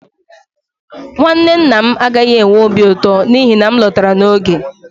nwanne nna m agaghị enwe obi ụtọ n'ihi na m lọtara n'oge